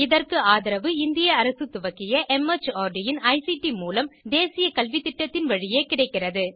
இதற்கு ஆதரவு இந்திய அரசு துவக்கிய மார்ட் இன் ஐசிடி மூலம் தேசிய கல்வித்திட்டத்தின் வழியே கிடைக்கிறது